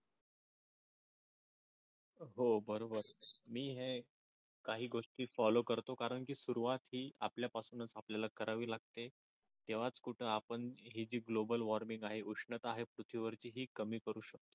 हो बरोबर मी हे काही गोष्टी फॉलो करतो कारण की सुरवात ही आपल्या पासूनच आपल्याला करावी लागते तेव्हा कुठे आपण ही जी गोबल वॉर्मिंग आहे उष्णता आहे पृथ्वी वरची ही कमी करू शकतो.